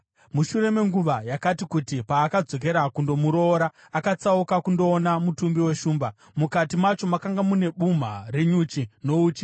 Mushure menguva yakati kuti, paakadzokera kundomuroora, akatsauka kundoona mutumbi weshumba. Mukati macho makanga mava nebumha renyuchi nouchi,